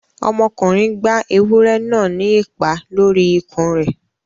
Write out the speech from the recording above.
Ọmọkùnrin gbá ewúrẹ́ náà ní ìpá lórí ikùn rẹ̀